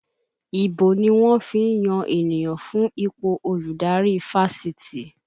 Ìbò ni wọ́n fi ń yan ènìyàn fún ipò olùdarí Fáṣitì